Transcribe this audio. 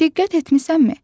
Diqqət etmisənmi?